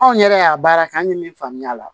Anw yɛrɛ y'a baara kɛ an ye min faamuya a la